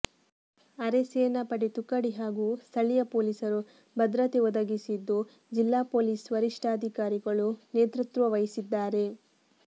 ಅರೆಸೇನಾ ಪಡೆ ತುಕಡಿ ಹಾಗೂ ಸ್ಥಳೀಯ ಪೊಲಿಸರು ಭದ್ರತೆ ಒದಗಿಸಿದ್ದು ಜಿಲ್ಲಾ ಪೊಲೀಸ್ ವರಿಷ್ಠಾಧಿಕಾರಿಗಳು ನೇತೃತ್ವ ವಹಿಸಿದ್ದಾರೆ